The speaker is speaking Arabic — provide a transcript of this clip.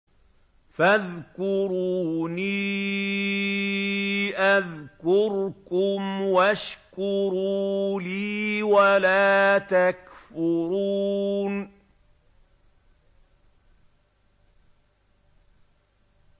فَاذْكُرُونِي أَذْكُرْكُمْ وَاشْكُرُوا لِي وَلَا تَكْفُرُونِ